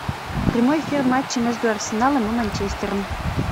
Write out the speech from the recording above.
прямой эфир матча между арсеналом и манчестером